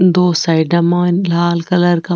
दो साइडा मायन लाल कलर का --